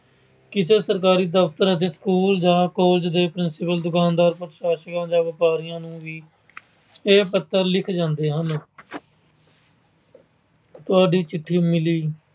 ਕਿਸੇ ਸਰਕਾਰੀ ਦਫਤਰ, school ਜਾਂ college ਦੇ principal ਦੁਕਾਨਦਾਰ, ਪ੍ਰਸ਼ਾਸਕਾਂ ਜਾਂ ਵਪਾਰੀਆਂ ਨੂੰ ਵੀ ਇਹ ਪੱਤਰ ਲਿਖੇ ਜਾਂਦੇ ਹਨ। ਤੁਹਾਡੀ ਚਿੱਠੀ ਮਿਲੀ।